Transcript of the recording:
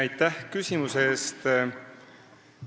Aitäh küsimuse eest!